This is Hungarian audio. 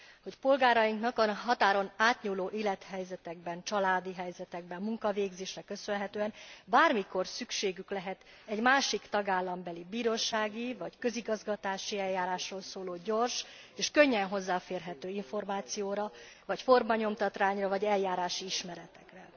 Hogy polgárainknak a határon átnyúló élethelyzetekben, családi helyzetekben, munkavégzésnek köszönhetően bármikor szükségük lehet egy másik tagállambeli bírósági vagy közigazgatási eljárásról szóló gyors és könnyen hozzáférhető információra vagy formanyomtatványokra vagy eljárási ismeretekre.